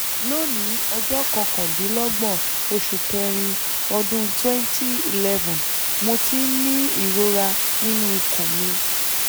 lónìí ọjọ́ kọkàndínlọ́gbọ̀n oṣù kẹ́rin ọdún 2011 mo ti ń ní ìrora nínú ikùn mi